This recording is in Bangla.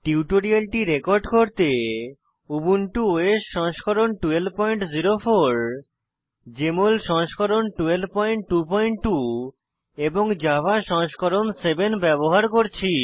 টিউটোরিয়ালটি রেকর্ড করতে উবুন্টু ওএস সংস্করণ 1204 জেএমএল সংস্করণ 1222 এবং জাভা সংস্করণ 7 ব্যবহার করছি